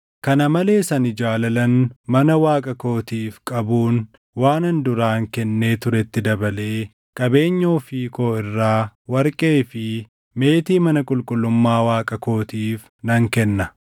Kana malees ani jaalalan mana Waaqa kootiif qabuun waanan duraan kennee turetti dabalee qabeenya ofii koo irraa warqee fi meetii mana qulqullummaa Waaqa kootiif nan kenna;